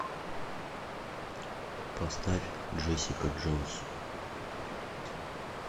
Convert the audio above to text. поставь джессика джонс